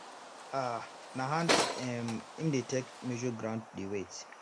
um na hand um him take dey measure ground wey wet